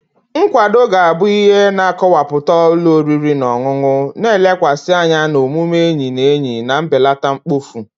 Nkwado ga-abụ ihe na-akọwapụta ụlọ oriri na ọṅụṅụ, na-elekwasị anya na omume enyi na enyi na mbelata mkpofu.